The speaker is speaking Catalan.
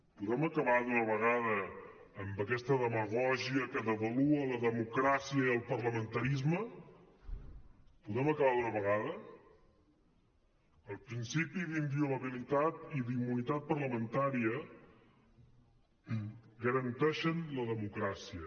podem acabar d’una vegada amb aquesta demagògia que devalua la democràcia i el parlamentarisme podem acabar d’una vegada els principis d’inviolabilitat i d’immunitat parlamentària garanteixen la democràcia